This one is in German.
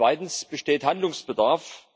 Zweitens Besteht Handlungsbedarf?